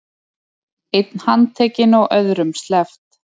Einn handtekinn og öðrum sleppt